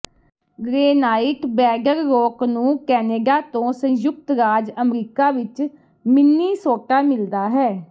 granite bedrock ਨੂੰ Canada ਤੋਂ ਸੰਯੁਕਤ ਰਾਜ ਅਮਰੀਕਾ ਵਿਚ ਮਿਨੀਸੋਟਾ ਮਿਲਦਾ ਹੈ